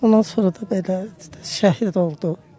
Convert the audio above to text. Ondan sonra da belə şəhid oldu.